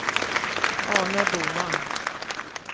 Arne Boman